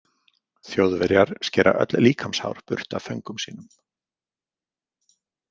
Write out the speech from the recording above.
Þjóðverjar skera öll líkamshár burt af föngum sínum.